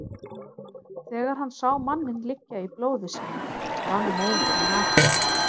Þegar hann sá manninn liggja í blóði sínu rann móðurinn af honum.